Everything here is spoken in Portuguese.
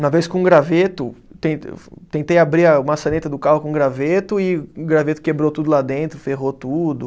Uma vez com um graveto, ten fo, tentei abrir a maçaneta do carro com um graveto e o graveto quebrou tudo lá dentro, ferrou tudo.